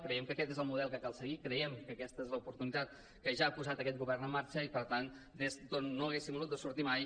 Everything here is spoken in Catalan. creiem que aquest és el model que cal seguir creiem que aquesta és l’oportunitat que ja ha posat aquest govern en marxa i per tant des d’on no haguéssim hagut de sortir mai